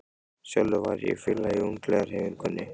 Sjálfur var ég félagi í ungliðahreyfingunni.